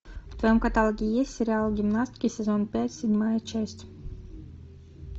в твоем каталоге есть сериал гимнастки сезон пять седьмая часть